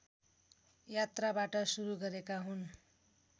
यात्राबाट सुरु गरेका हुन्